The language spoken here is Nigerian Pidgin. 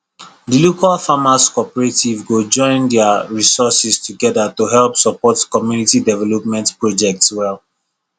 the local farmers cooperative go join their resources together to help support community development projects well